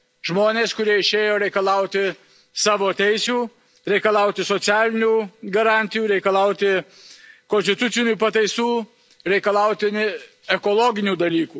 Žmonės, kurie išėjo reikalauti savo teisių, reikalauti socialinių garantijų, reikalauti konstitucinių pataisų, reikalauti ekologinių dalykų.